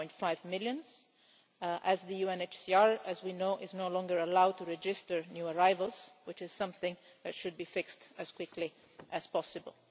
1.5 million as the UNHCR, as we know, is no longer allowed to register new arrivals, which is something that should be fixed as quickly as possible.